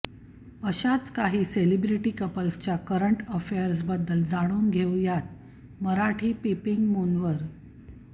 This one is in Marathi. अशाच काही सेलिब्रिटी कपल्सच्या करंट अफेअर्सबद्दल जाणून घेऊयात मराठी पिपींगमूनवर